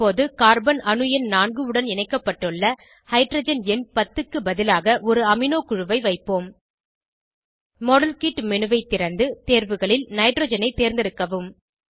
இப்போது கார்பன் அணு எண் 4 உடன் இணைக்கப்பட்டுள்ள ஹைட்ரஜன் எண் 10 க்கு பதிலாக ஒரு அமினோ குழுவை வைப்போம் மாடல்கிட் menuஐ திறந்து தேர்வுகளில் நைட்ரஜனை தேர்ந்தெடுக்கவும்